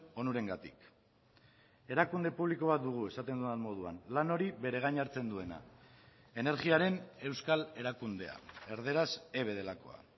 onurengatik erakunde publiko bat dugu esaten dudan moduan lan hori bere gain hartzen duena energiaren euskal erakundea erdaraz eve delakoa